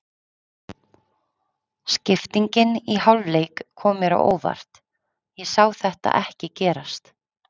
Skiptingin í hálfleik kom mér á óvart, ég sá þetta ekki gerast.